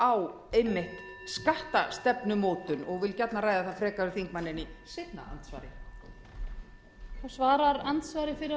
á einmitt skattstefnumótun og vil gjarnan ræða það frekar við þingmanninn í seinna andsvari